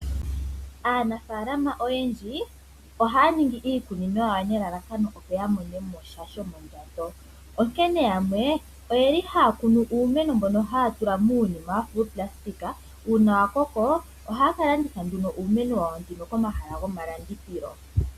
Aanafaalama oyendji ohaya ningi iikunino yawo nelalakano opo yamonemo sha shomondjato. Yamwe ohaya kunu uumeno mbono haya tula muunima wafa uuplastika. Uuna wakoko ohaye kewu landitha komahala gomalandithilo.